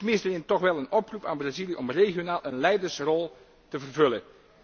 Ik mis hierin toch wel een oproep aan Brazilië om regionaal een leidersrol te vervullen.